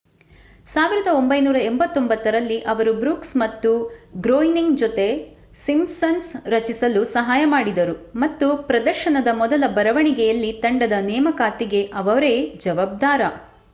1989 ರಲ್ಲಿ ಅವರು ಬ್ರೂಕ್ಸ್ ಮತ್ತು ಗ್ರೋಯ್ನಿಂಗ್ ಜೊತೆ ಸಿಂಪ್ಸನ್ಸ್ ರಚಿಸಲು ಸಹಾಯ ಮಾಡಿದರು ಮತ್ತು ಪ್ರದರ್ಶನದ ಮೊದಲ ಬರವಣಿಗೆಯಲ್ಲಿ ತಂಡದ ನೇಮಕಾತಿಗೆ ಅವರೇ ಜವಾಬ್ದಾರ